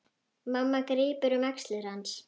Mamma grípur um axlir hans.